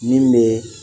Min bɛ